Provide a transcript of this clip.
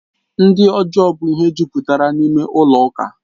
Ndị ọjọọ bụ ihe jupụtara n'ime ụlọ ụka